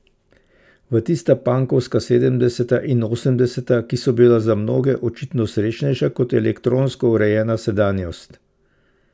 V tista pankovska sedemdeseta in osemdeseta, ki so bila za mnoge očitno srečnejša kot elektronsko urejena sedanjost.